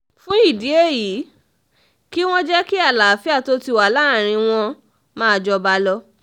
fún ìdí èyí kí wọ́n jẹ́ kí àlàáfíà tó ti wà láàrin wọn máa jọba lọ